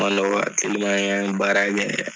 Mandɔ wa teliman an ye an ye baara kɛ yɛrɛ